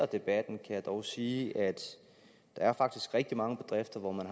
debatten kan jeg dog sige at der faktisk er rigtig mange bedrifter hvor man